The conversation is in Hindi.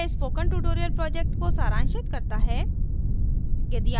यह स्पोकन ट्यूटोरियल प्रोजेक्ट को सरांशित करता है